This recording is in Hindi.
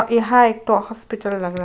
यहाँ एक हॉस्पिटल लग रहा है।